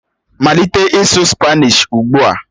Malite ịsụ Spanishi ugbu a!